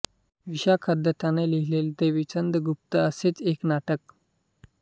विशाखदत्ताने लिहिलेले देवीचंद गुप्त हे असेच एक नाटक